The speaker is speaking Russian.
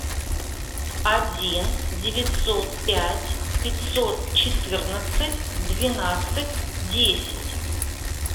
один девятьсот пять пятьсот четырнадцать двенадцать десять